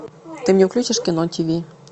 ты мне включишь кино тиви